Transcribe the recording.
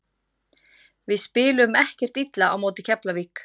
Við spiluðum ekkert illa á móti Keflavík.